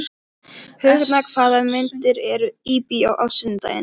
Högna, hvaða myndir eru í bíó á sunnudaginn?